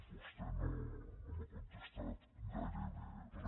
vostè no m’ha contestat a gairebé re